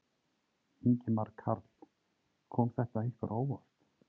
Ingimar Karl: Kom þetta ykkur á óvart?